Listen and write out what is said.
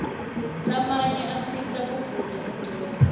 lamanye asita kuvula ingcondvo